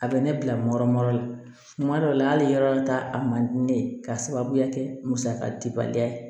A bɛ ne bila nɔrɔ nɔrɔ la tuma dɔ la hali yɔrɔ ta a man di ne ye k'a sababuya kɛ musaka dibaliya ye